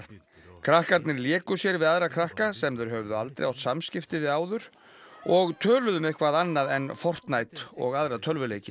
krakkarnir léku sér við aðra krakka sem þeir höfðu aldrei átt samskipti við áður og töluðu um eitthvað annað en og aðra tölvuleiki